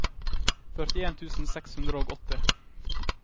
førtien tusen seks hundre og åtti